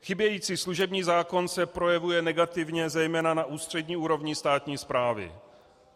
Chybějící služební zákon se projevuje negativně zejména na ústřední úrovni státní správy.